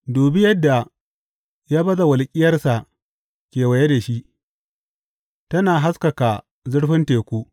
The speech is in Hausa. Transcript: Dubi yadda ya baza walƙiyarsa kewaye da shi, tana haskaka zurfin teku.